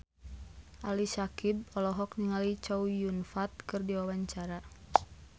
Ali Syakieb olohok ningali Chow Yun Fat keur diwawancara